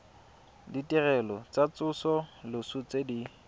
ditirelo tsa tsosoloso tse di